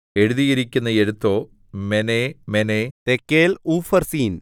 എഴുതിയിരിക്കുന്ന എഴുത്തോ മെനേ മെനേ തെക്കേൽ ഊഫർസീൻ